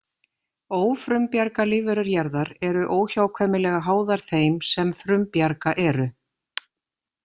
Ófrumbjarga lífverur jarðar eru óhjákvæmilega háðar þeim sem frumbjarga eru.